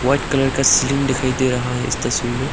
White colour का ceiling दिखाई दे रहा है इस तस्वीर में।